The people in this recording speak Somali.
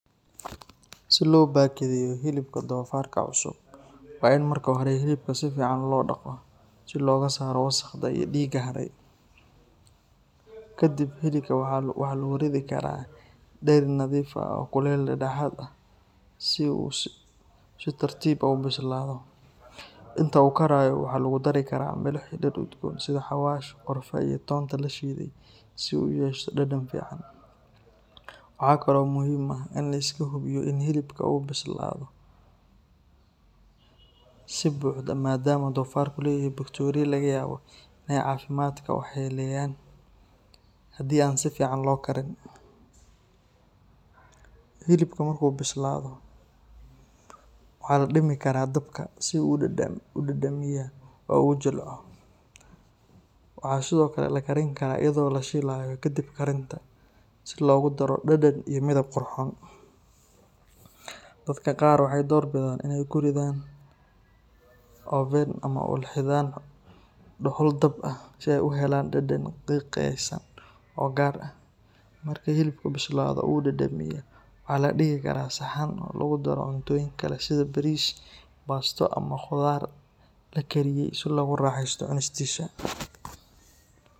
Si loo bakadeeyo hilibka doofaarka cusub, waa in marka hore hilibka si fiican loo dhaqo si looga saaro wasakhda iyo dhiigga haray. Kadib, hilibka waxaa lagu ridi karaa dheri nadiif ah oo kuleyl dhexdhexaad ah leh si uu si tartiib ah u bislaado. Inta uu karayo, waxaa lagu dari karaa milix iyo dhir udgoon sida xawaash, qorfe, iyo toonta la shiiday si uu u yeesho dhadhan fiican. Waxa kale oo muhiim ah in la iska hubiyo in hilibka uu bislaado si buuxda maadaama doofaarku leeyahay bakteeriyo laga yaabo inay caafimaadka waxyeeleeyaan haddii aan si fiican loo karin. Hilibka markuu bislaado, waxaa la dhimi karaa dabka si uu u dhadhamiya oo u jilco. Waxaa sidoo kale la karin karaa iyadoo la shiilayo kadib karinta, si loogu daro dhadhan iyo midab qurxoon. Dadka qaar waxay door bidaan inay ku ridan oven ama ulxidhaan dhuxul dab ah si ay u helaan dhadhan qiiqaysan oo gaar ah. Marka hilibku bislaado oo uu dhadhamiya, waxaa la dhigi karaa saxan oo lagu daro cuntooyin kale sida bariis, baasto ama khudaar la kariyey si loogu raaxeysto cunistiisa.